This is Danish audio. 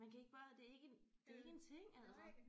Man kan ikke bare det er ikke det er ikke en ting altså